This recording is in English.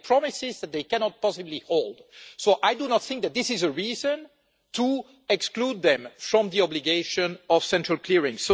They made promises that they cannot possibly hold. I do not think that this is a reason to exclude them from the obligation of central clearing.